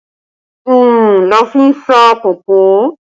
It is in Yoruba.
Oòrùn la fi ń sá kòkó